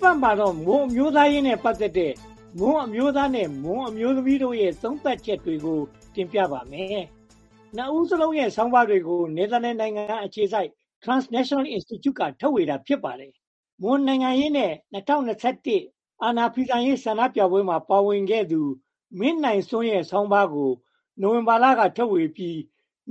ပတ်မှာတော့ မွန်အမျိုးသားရေးနဲ့ ပတ်သက်တဲ့ မွန်အမျိုးသားနဲ့ မွန်အမျိုးသမီးတို့ရဲ့ သုံးသပ်ချက်တွေကို တင်ပြပါမယ်။ နှစ်ဦးစလုံးရဲ့ ဆာင်းပါးတွေကို နယ်သာလန်နိုင်ငံအခြေစိုက် Transnational Institute က ထုတ်ဝေတာ ဖစ်ပါတယ်။ မွန်နိုင်ငံရေးနဲ့ ၂၀၂၁ အာဏာဖီဆန်ရေး ဆန္ဒပြပွဲမှာပါဝင်ခဲ့သူ မင်းနိုင်စွန်းရဲ့ဆောင်းပါးကို ဝင်ဘာလက ထုတ်ဝေပြီး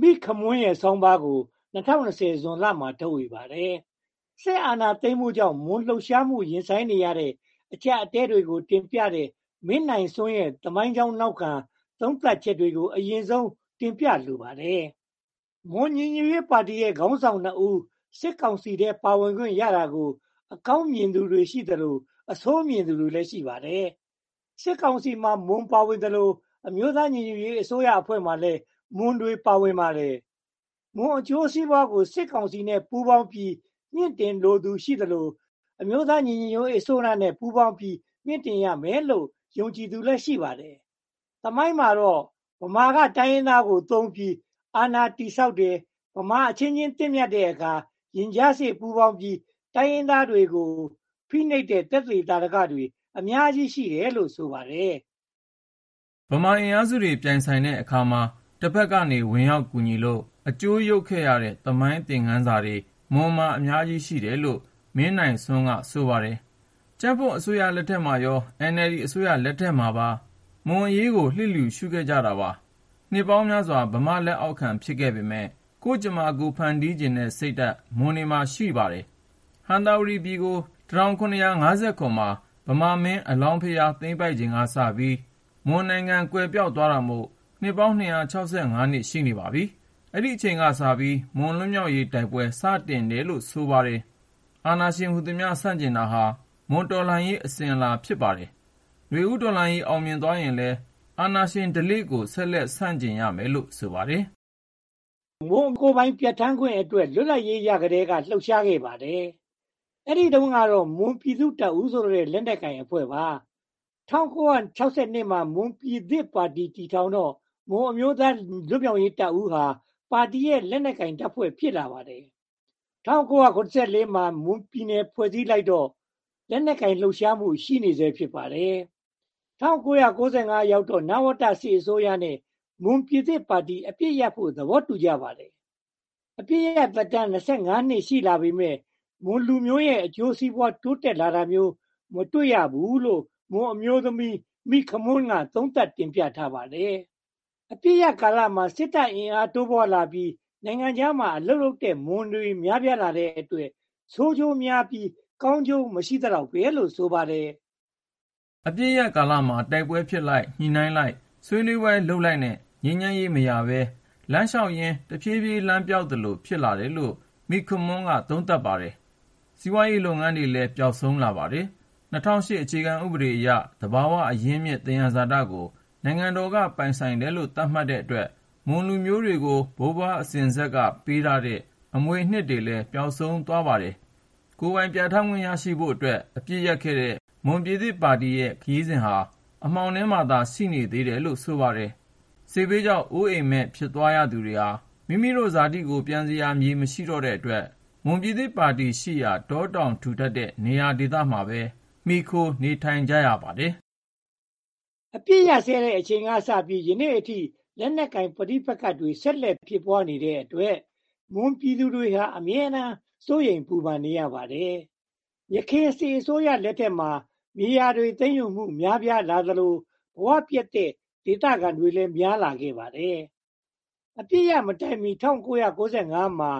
၊ မိခမွန်းရဲ့ဆောင်းပါးကိုတော့ ၂၀၂၀ ဇွန်လမှာ ထုတ်ဝေပါတယ်။ စစ်အာဏာသိမ်းမှုကြောင့် မွန်လှုပ်ရှားမှု ရင်ဆိုင်နေရတဲ့ အကျပ်အတည်းတွေကို တင်ပြထားတဲ့ မင်းနိုင်စွန်းရဲ့သမိုင်းကြောင်းနောက်ခံ သုံးသပ်ချက်တွေကို အရင်ဆုံးတင်ပြလိုပါတယ်။ မွန်ညီညွတ်ရေးပါတီရဲ့ ခါင်းဆောင်နှစ်ဦး စစ်ကောင်စီထဲ ပါဝင်ခွင့်ရတာကို အကောင်းမြင်သူတွေရှိသလို၊ အဆိုးမြင်သူတွေလည်း ရှိပါတယ်။ စစ်ကောင်စီမှာ မွန်ပါဝင်သလို အမျိုးသားညီညွတ်ရေးအစိုးရအဖွဲ့မှာလည်း မွန်တွေ ပါဝင်ပါတယ်။ မွန်အကျိုးစီးပွားကို စစ်ကောင်စီနဲ့ ပူးပေါင်းပြီး မှင့်တင်လိုသူ ရှိသလို၊ အမျိုးသားညီညွှတ်ရေးအစိုးရနဲ့ ပူးပေါင်းပြီး မြှင့်တင်ရမယ်လို့ ယုံကြည်သူလည်း ရှိပါတယ်။ သမိုင်းမှာတော့ ဗမာက တိုင်းရင်းသားကိုသုံးပြီးအာဏာတည်ဆောက်ပါတယ်။ ဗမာအချင်းချင်း သင့်မြတ်တဲ့အခါ၊ ရင်ကြားစေ့ပူးပေါင်းပြီး တိုင်းရင်းသားတွေကို ဖိနှိပ်တဲ့ သက်သေသာဓကတွေ အများကြီးရှိတယ်လို့ ဆိုပါတယ်။ ဗမာအင်အားစုတွေ ပြိုင်ဆိုင်တဲ့အခါမှာ တဘက်ကနေ ဝင်ရောက်ကူညီလို့ အကျိုးယုတ်ခဲ့ရတဲ့ သမိုင်းသင်ခန်းစာတွေ မွန်မှာ အများကြီးရှိတယ်လို့ မင်းနိုင်စွန်းက ဆိုပါတယ်။ ကြံ့ဖွံ့အစိုးရလက်ထက်မှာရော၊ NLD အစိုးရလက်ထက်မှာရော မွန်အရေးကို လျစ်လျူရှုခဲ့ကြပါတယ်။နှစ်ပေါင်းများစွာ ဗမာ့လက်အောက်ခံ ဖစ်ခဲ့ပေမယ့် ကိုယ့်ကြမ္မာ ကိုယ်ဖန်တီးချင်တဲ့ စိတ်ဓါတ် မွန်တွေမှာ ရှိနေပါတယ်။ ဟံသာဝတီပြည်ကို (၁၇၅၇) မှာ ဗမာမင်း အလောင်းဘုရား သိမ်းပိုက်ချိန်ကစပြီး မွန်နိုင်ငံ ကွယ်ပျောက်သွားတာမို့ စ်ပေါင်း (၂၆၅) စ် ရှိနေပါပြီ။ အဲဒီအချိန်ကစပြီး မွန်လွတ်မြောက်ရေး တိုက်ပွဲ စတင်ခဲ့တယ်လို့ ဆိုပါတယ်။ အာဏာရှင်ဟူသမျှ ဆန့်ကျင်တာဟာ မွန်တော်လှန်ရေး အစဉ်အလာ ဖစ်ပါတယ်။ ဦးတော်လှန်ရေးအောင်မြင်သွားရင်လည်း အာဏာရှင်ဓလေ့ကို ဆက်လက်ဆန့်ကျင်ရမယ်လို့ ဆိုပါတယ်။ မွန်ကိုယ်ပိုင် ပြဌာန်းခွင့်အတွက် လွတ်လပ်ရေးရကတည်းက လှုပ်ရှားခဲ့ပါတယ်။ အဲဒီတုန်းကတော့ မွန်ပြည်သူ့တပ်ဦးဆိုတဲ့ လက်နက်ကိုင်အဖွဲ့ပါ။ ၁၉၆၂ မှာ မွန်ပြည်သစ်ပါတီ တည်ထောင်တော့ မွန်အမျိုးသားလွတ်မြောက်ရေးတပ်ဦးဟာ ပါတီရဲ့ လက်နက်ကိုင်တပ်ဖွဲ့ ဖစ်လာပါတယ်။ ၁၉၇၄ မှာ မွန်ပြည်နယ် ဖွဲ့လိုက်တော့လည်း လက်နက်ကိုင် လှုပ်ရှားမှု ရှိနေဆဲ ဖစ်ပါတယ်။ ၁၉၉၅ ရောက်တော့မှ နဝတစစ်အစိုးရနဲ့ မွန်ပြည်သစ်ပါတီ အပစ်ရပ်ဖို့ သဘောတူကြပါတယ်။ အပစ်ရပ်သက်တမ်း (၂၅) နှစ် ရှိလာပေမယ့် မွန်လူမျိုးတွေရဲ့ အကျိုးစီးပွား တိုးတက်လာတာမျိုး မတွေ့ရဘူးလို့ မွန်အမျိုးသမီး မိခမွန်းက သုံးသပ်တင်ပြထားပါတယ်။ အပစ်ရပ်ကာလမှာ စစ်တပ်အင်အားတိုးပွားလာပြီး င်ငံခြားမှာ အလုပ်လုပ်ကြတဲ့ မွန်တွေလည်း များပြားလာတဲ့အတွက် ဆိုးကျိုးများပြီး၊ ကာင်းကျိုးမရှိသလောက်ပဲလို့ ဆိုပါတယ်။ အပစ်ရပ်ကာလမှာ တိုက်ပွဲဖြစ်လိုက်၊ ညှိနှိုင်းလိုက်၊ ဆွးနွေးပွဲလုပ်လိုက်နဲ့ ငြိမ်းချမ်းရေးမရဘဲ လမ်းလျှောက်ရင် တဖြည်းဖြည်း လမ်းပျောက်သလို ဖစ်လာတယ်လို့ မိခမွန်းက သုံးသပ်ပါတယ်။စီးပွားရေးလုပ်ငန်းတွေလည်း ပျောက်ဆုံးလာပါတယ်။ ၂၀၀၈ အခြေခံဥပဒေအရ သဘာဝအရင်းအမြစ် သယံဇာတကို င်ငံတော်က ပိုင်တယ်လို့ သတ်မှတ်ထားတဲ့အတွက် မွန်လူမျိုးတွေကို ဘိုးဘွားအစဉ်အဆက်က ပးထားခဲ့တဲ့ အမွေအနှစ်တွေလည်း ပျောက်ဆုံးသွားပါတော့တယ်။ ကိုယ်ပိုင်ပြဌာန်းခွင့်ရဖို့အတွက် အပစ်ရပ်ခဲ့တဲ့ မွန်ပြည်သစ်ပါတီရဲ့ ခရီးစဉ်ဟာလည်း အမှောင်ထဲမှာသာ ရှိနေသေးတယ်လို့ ဆိုပါတယ်။ စစ်ဘေးကြောင့် အိုးအိမ်မဲ့ဖြစ်သွားရသူတွေဟာ မိမိတို့ ဇာတိမြေကို ပန်စရာ မမရှိတော့တဲ့အတွက် မွန်ပြည်သစ်ပါတီရှိရာ တာတောင်ထူထပ်တဲ့နေရာဒေသတွေမှာပဲ မှီခိုနေထိုင်ကြရပါတယ်။ အပစ်အခတ်ရပ်စဲတဲ့ အချိန်ကစပြီး ယနေ့အထိ လက်နက်ကိုင်ပဋိပက္ခတွေ ဆက်လက်ဖြစ်ပွားနေတဲ့အတွက် မွန်ပြည်သူတွေဟာ အမြဲတမ်းစိုးရိမ်ပူပန်နေရပါတယ်။ ယခင်စစ်အစိုးရတွေ လက်ထက်မှာ မြေယာသိမ်းယူမှုတွေ များပြားလာသလို ဘဝပျက်တဲ့ ဒသခံတွေလည်း များလာခဲ့ပါတယ်။ အပစ်ရပ်မတိုင်မီ ၁၉၉၅ မှာ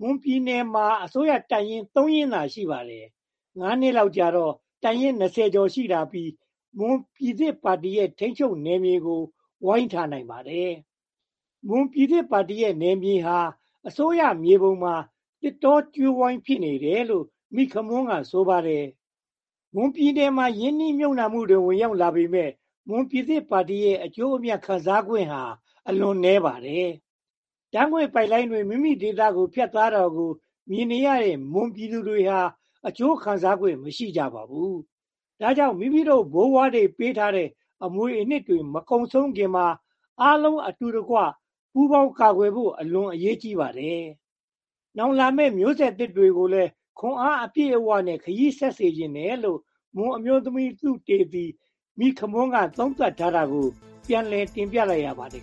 မွန်ပြည်နယ်မှာ အစိုးရတပ်ရင်း (၃) ရင်းသာ ရှိပါတယ်။ ငါးနှစ်လောက်ကြာတော့ တပ်ရင်း (၂၀) ကျာ် ရှိလာပြီး၊ မွန်ပြည်သစ်ပါတီရဲ့ ထိန်းချုပ်နယ်မြေကို ဝိုင်းထားနိုင်ပါတယ်။ မွန်ပြည်သစ်ပါတီရဲ့ နယ်မြေဟာ အစိုးရမြေပုံမှာ သစ်တောကြိုးဝိုင်း ဖစ်နေတယ်လို့ မိခမွန်းက ဆိုပါတယ်။ မွန်ပြည်နယ်ကို ရင်းနှီးမြုပ်နံှမှုတွေ ဝင်ရောက်လာပေမယ့် မွန်ပြည်သစ်ပါတီရဲ့ အကျိုးအမြတ်ခံစားခွင့်ဟာ အလွန်နည်းပါတယ်။ ဓါတ်ငွေ့ပိုက်လိုင်းတွေ မိမိတို့ဒေသကို ဖတ်သွာ တာကိုမြင်နေရတဲ့ မွန်ပြည်သူတွေဟာ အကျိုးခံစားခွင့် မရှိကြပါဘူး။ ဒါကြောင့် မိမိတို့ ဘိုးဘွားတွေ ပးထားခဲ့တဲ့ အမွေအနှစ်တွေ မကုန်ဆုံးခင်မှာ အားလုံးအတူတကွ ပူးပေါင်းကာကွယ်ဖို့ အလွန်အရေးကြီးပါတယ်။ နောင်လာမယ့် မျိုးဆက်သစ်တွေကိုလည်း ခွန်အားအပြည့်နဲ့ ခရီးဆက်စေချင်တယ်လို့ မွန်အမျိုးသမီးသုတေသီ မိခမွန်းက သုံးသပ်ထားတာကိုပြန်လည်တင်ပြလိုက်ရပါတယ်